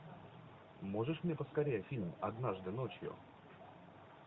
можешь мне поскорее фильм однажды ночью